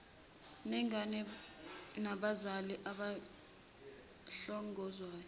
nengane nabazali abahlongozwayo